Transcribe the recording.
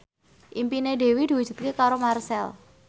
impine Dewi diwujudke karo Marchell